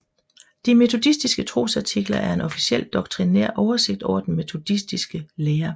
De Metodistiske Trosartikler er en officiel doktrinær oversigt over den metodiske lære